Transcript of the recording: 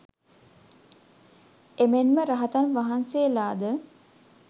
එමෙන්ම රහතන් වහන්සේලාද